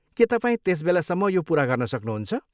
के तपाईँ त्यस बेलासम्म यो पुरा गर्न सक्नुहुन्छ?